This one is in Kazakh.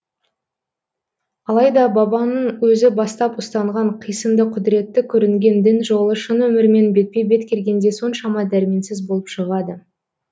алайда бабаңның өзі бастап ұстанған қисынды құдіретті көрінген дін жолы шын өмірмен бетпе бет келгенде соншама дәрменсіз болып шығады